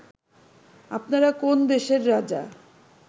আপনারা কোন দেশের রাজা